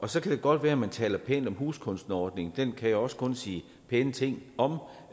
så kan det godt være at man taler pænt om huskunstnerordningen den kan jeg også kun sige pæne ting om